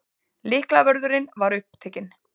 Lyklavörðurinn var upptekinn.